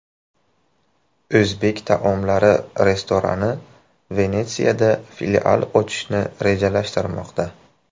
O‘zbek taomlari restorani Venetsiyada filial ochishni rejalashtirmoqda.